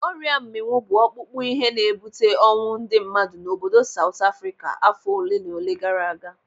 Ọrịa mminwu bụ ọkpụkpụ ihe na-ebute ọnwụ ndị mmadụ n'obodo Saut Afrịka afọ olenaole gara aga.